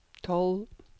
tolv